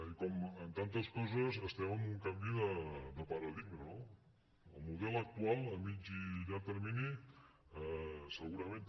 i com en tantes coses estem en un canvi de paradigma no el model actual a mitjà i llarg termini segurament també